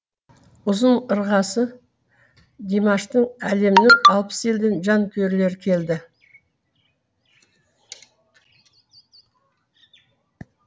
ұзын ырғасы димаштың әлемнің алпыс елден жанкүйерлері келді